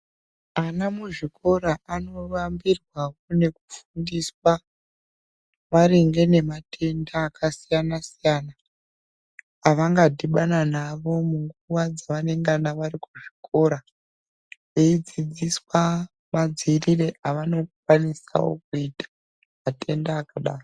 Ana muzvikora anovambirwa nekufundiswa maringe nematenda akasiyana-siyana. Avanodhibana navo panguva yavanengana vari kuzvikora. Veidzidziswa madzirire avanokwanisavo kuita matenda akadaro.